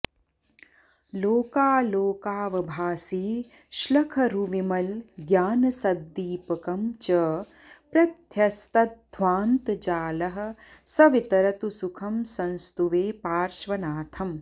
लोकालोकावभासी श्लखरुविमलज्ञानसद्दीपकं च प्रध्यस्तध्वान्तजालः स वितरतु सुखं संस्तुवे पार्श्वनाथम्